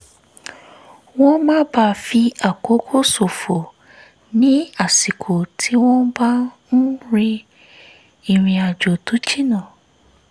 wọ́n má bàa fi àkókò ṣòfò ní àsìkò tí wọ́n bá ń rin ìrìnjò tó jìnnà